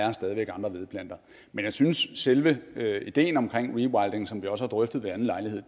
er stadig væk andre vedplanter men jeg synes at selve ideen om rewilding rewilding som vi også har drøftet ved anden lejlighed